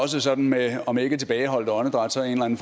også sådan med om ikke tilbageholdt åndedræt så en